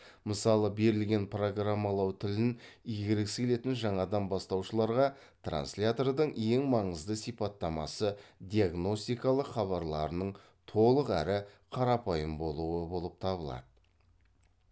мысалы берілген программалау тілін игергісі келетін жаңадан бастаушыларға транслятордың ең маңызды сипаттамасы диагностикалық хабарларының толық әрі қарапайым болуы болып табылады